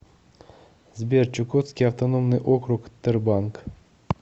сбер чукотский автономный округ тербанк